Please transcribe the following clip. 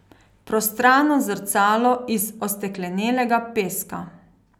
Prostrano zrcalo iz osteklenelega peska.